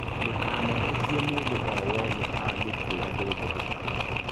Ndũkanetĩkie mũndũ o-wothe angĩkwĩra ndũngĩhota.